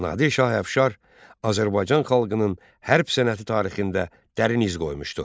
Nadir şah əfşar Azərbaycan xalqının hərb sənəti tarixində dərin iz qoymuşdur.